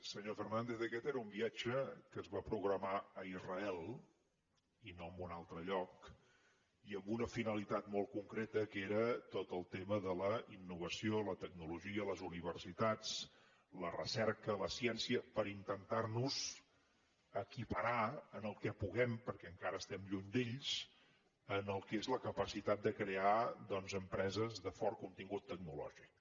senyor fernàndez aquest era un viatge que es va programar a israel i no a un altre lloc i amb una finalitat molt concreta que era tot el tema de la innovació la tecnologia les universitats la recerca la ciència per intentar nos equiparar en el que puguem perquè encara estem lluny d’ells en el que és la capacitat de crear doncs empreses de fort contingut tecnològic